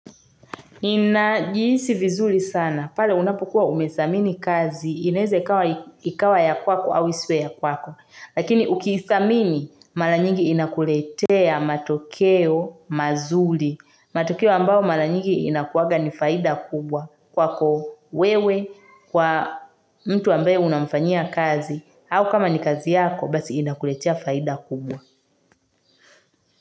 Inajiisi vizuli sana. Pale unapokua umesamini kazi, inaeze ikawa ya kwako au iswe ya kwako. Lakini ukiithamini, mara nyingi inakuletea matokeo mazuli. Matokeo ambao mara nyingi inakuaga ni faida kubwa kwako wewe, kwa mtu ambaye unamfanyia kazi, au kama ni kazi yako, basi inakuletea faida kubwa.